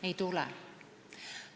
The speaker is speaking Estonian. Ei tule.